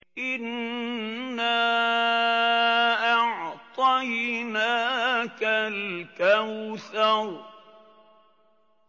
إِنَّا أَعْطَيْنَاكَ الْكَوْثَرَ